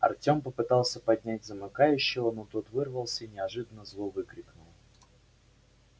артём попытался поднять замыкающего но тот вырвался и неожиданно зло выкрикнул